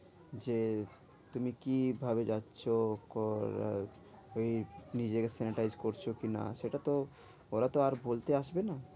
যে তুমি কি ভাবে যাচ্ছ ওই নিজেকে sanitize করছো কি না? সেটা তো ওরা তো আর বলতে আসবে না।